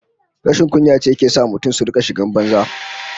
Rashin kunya ce ke sa mutane su rika shigar banza